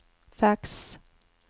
fax